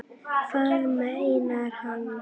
Hvað meinar hann?